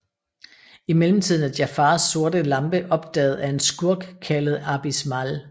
I mellemtiden er Jafars sorte lampe opdaget af en skurk kaldt Abis Mal